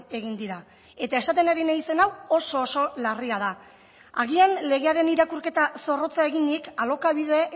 egin dira eta esaten ari naizen hau oso oso larria da agian legearen irakurketa zorrotza eginik alokabide